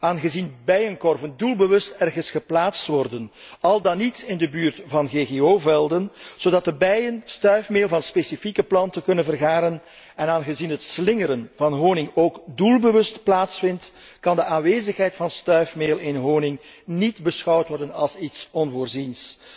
Aangezien bijenkorven doelbewust ergens geplaatst worden, al dan niet in de buurt van GGO velden, zodat de bijen stuifmeel van specifieke planten kunnen vergaren, en aangezien het slingeren van honing ook doelbewust plaatsvindt, kan de aanwezigheid van stuifmeel in honing niet worden beschouwd als iets onvoorziens.